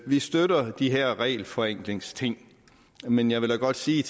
vi støtter de her regelforenklingsting men jeg vil da godt sige i